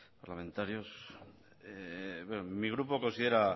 parlamentarios bien mi grupo considera